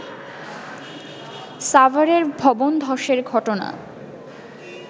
সাভারের ভবনধসের ঘটনা